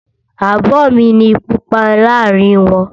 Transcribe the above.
Abo mi ni Pupa láàárín wọn.